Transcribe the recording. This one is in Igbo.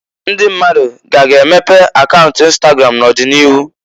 Ndi mmadu k'a ga-emepe akaunt ịnstagram n'ọdị n'iru.